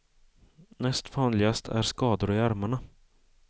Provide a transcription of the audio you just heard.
Näst vanligast är skador i armarna.